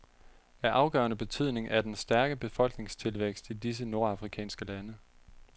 Af afgørende betydning er den stærke befolkningstilvækst i disse nordafrikanske lande.